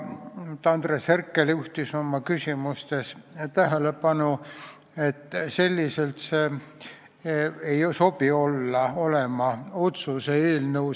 Andres Herkel juhtis oma küsimustes tähelepanu, et see ei sobi otsuse eelnõuks.